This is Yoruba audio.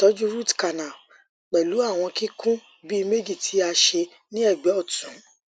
itọju root canal pẹlu awọn kikun bi meji ti a ṣe ni ẹgbẹ ọtun